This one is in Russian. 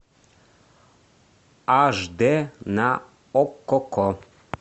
аш дэ на окко